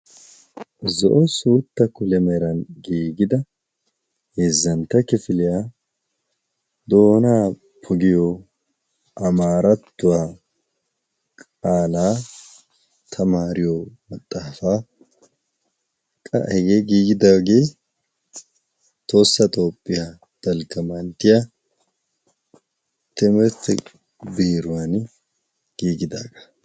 zo'o suutta kulemeeran giigida heezzantta kifiliyaa doonaa pugiyo amaarattuwaa qaalaa tamaariyo maxaafaa qa hegee giigidaagee tohossa doopphiyaa dalgga manttiya timmirti biruwan giigidaagaa